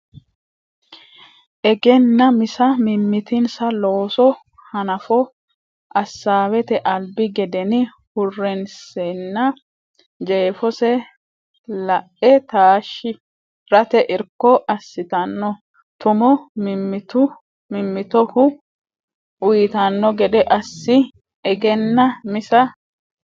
Egennaa misa mimmitinsa looso hanafo assaawete albi gedeni hurrinsenna jeefose la e taashshi rate irko assitanno tumo mimmitoho uytanno gede assi Egennaa misa.